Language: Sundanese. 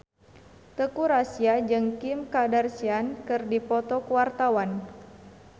Teuku Rassya jeung Kim Kardashian keur dipoto ku wartawan